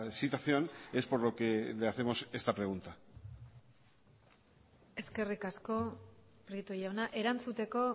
situación es por lo que le hacemos esta pregunta eskerrik asko prieto jauna erantzuteko